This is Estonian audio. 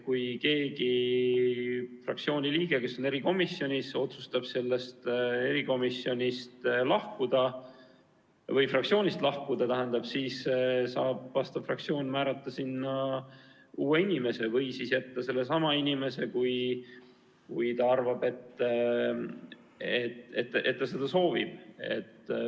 Kui keegi fraktsiooni liige, kes on erikomisjonis, otsustab sealt lahkuda või fraktsioonist lahkuda, siis saab fraktsioon määrata sinna uue inimese või siis jätta sellesama inimese, kui ta arvab, et ta seda soovib.